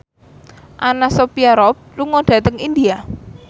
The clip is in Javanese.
Anna Sophia Robb lunga dhateng India